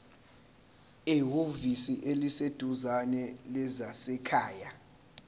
ehhovisi eliseduzane lezasekhaya